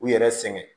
U yɛrɛ sɛgɛn